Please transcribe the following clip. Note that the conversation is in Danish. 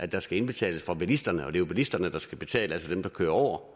der skal indbetales af bilisterne det er jo bilisterne der skal betale altså dem der kører